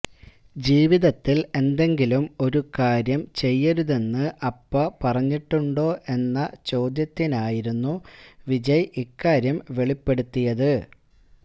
ജീവിതത്തില് എന്തെങ്കിലും ഒരു കാര്യം ചെയ്യരുതെന്ന് അപ്പ പറഞ്ഞിട്ടുണ്ടോ എന്ന ചോദ്യത്തിനായിരുന്നു വിജയ് ഇക്കാര്യം വെളിപ്പെടുത്തിയത്